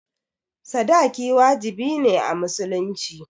sadaki wajibi ne a musulunci